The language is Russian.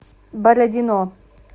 бородино